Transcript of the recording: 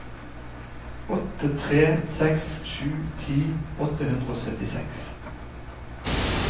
åtte tre seks sju ti åtte hundre og syttiseks